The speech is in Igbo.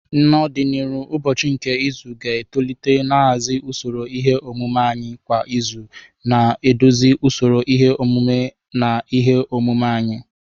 N'ọdịnihu, ụbọchị nke izu ga-etolite nhazi usoro ihe omume anyị kwa izu, na-eduzi usoro ihe omume na ihe omume anyị.